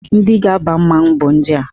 Ndị ga-aba mmanwụ bụ ndị a.